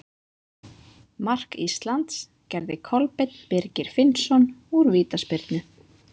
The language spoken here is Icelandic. Mark Íslands gerði Kolbeinn Birgir Finnsson úr vítaspyrnu.